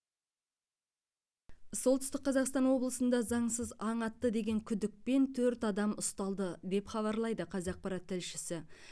солтүстік қазақстан облысында заңсыз аң атты деген күдікпен төрт адам ұсталды деп хабарлайды қазақпарат тілшісі